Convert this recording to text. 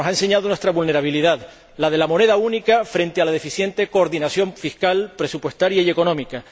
Nos ha enseñado nuestra vulnerabilidad la de la moneda única frente a la deficiente coordinación fiscal, presupuestaria y económica